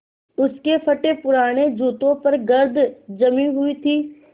उसके फटेपुराने जूतों पर गर्द जमी हुई थी